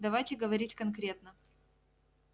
давайте говорить конкретно